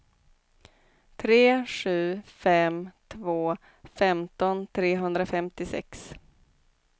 tre sju fem två femton trehundrafemtiosex